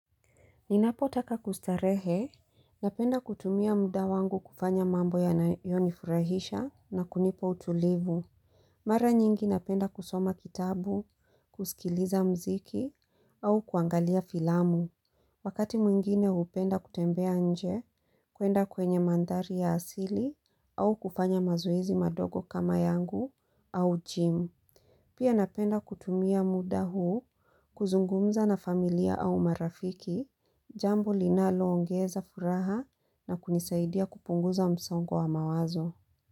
Ninapotaka kustarehe, napenda kutumia muda wangu kufanya mambo ya nayonifurahisha na kunipa utulivu. Mara nyingi napenda kusoma kitabu, kusikiliza muziki au kuangalia filamu. Wakati mwingine upenda kutembea nje kuenda kwenye mandhari ya asili au kufanya mazoezi madogo kama yangu au gym. Pia napenda kutumia muda huu, kuzungumza na familia au marafiki, jambo linalo ongeza furaha na kunisaidia kupunguza msongo wa mawazo.